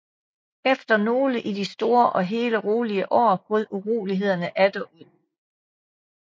Efter nogle i det store og hele rolige år brød uroligheder atter ud